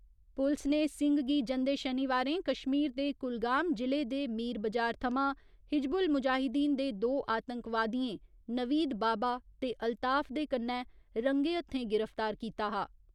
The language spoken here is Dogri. पुलस ने सिंह गी जंदे शनिवारें कश्मीर दे कुलगाम जि'ले दे मीर बजार थमां हिजबुल मुजाहिदीन दे दो आतंकवादियें नवीद बाबा ते अल्ताफ दे कन्नै रंगे हत्थें गिरफ्तार कीता हा।